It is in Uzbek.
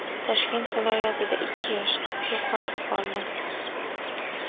Toshkent viloyatida ikki yosh qiz yo‘qolib qoldi.